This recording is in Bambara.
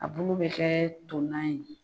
A bulu bɛ kɛ to nan ye.